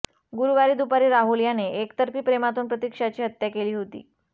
गुरुवारी दुपारी राहुल याने एकतर्फी प्रेमातून प्रतीक्षाची हत्या केली होती